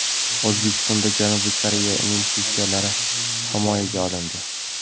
O‘zbekistonda Janubiy Koreya investitsiyalari himoyaga olindi.